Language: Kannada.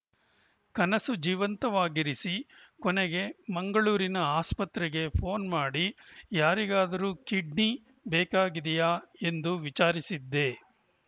ಕನಸು ಜೀವಂತವಾಗಿರಿಸಿ ಕೊನೆಗೆ ಮಂಗಳೂರಿನ ಆಸ್ಪತ್ರೆಗೆ ಫೋನ್‌ ಮಾಡಿ ಯಾರಿಗಾದರೂ ಕಿಡ್ನಿ ಬೇಕಾಗಿದೆಯಾ ಎಂದು ವಿಚಾರಿಸಿದ್ದೆ